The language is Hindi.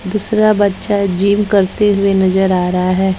दूसरा बच्चा जिम करते हुए नजर आ रहा है।